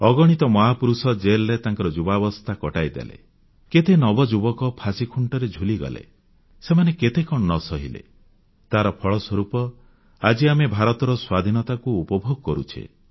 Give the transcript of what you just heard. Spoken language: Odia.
ଅଗଣିତ ମହାପୁରୁଷ ଜେଲରେ ତାଙ୍କର ଯୁବାବସ୍ଥା କଟେଇ ଦେଲେ କେତେ ନବଯୁବକ ଫାଶିଖୁଂଟରେ ଝୁଲିଗଲେ ସେମାନେ କେତେ କଣ ନ ସହିଲେ ତାର ଫଳସ୍ୱରୂପ ଆଜି ଆମେ ଭାରତର ସ୍ୱାଧୀନତାକୁ ଉପଭୋଗ କରୁଛେ